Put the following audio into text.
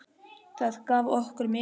Það gaf okkur mikinn kraft.